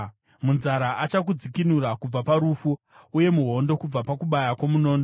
Munzara achakudzikinura kubva parufu, uye muhondo kubva pakubaya kwomunondo.